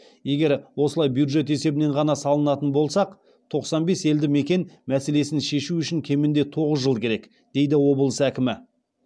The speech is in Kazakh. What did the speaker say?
егер осылай бюджет есебінен ғана салатын болсақ тоқсан бес елді мекен мәселесін шешу үшін кемінде тоғыз жыл керек дейді облыс әкімі